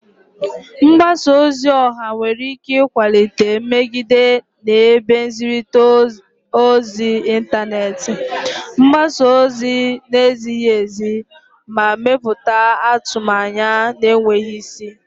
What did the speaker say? Mgbasa ozi ọha nwere ike ịkwalite nmegide na ebe nzirita ozi intaneti, gbasaa ozi na-ezighi ezi, ma mepụta atụmanya na-enweghị isi.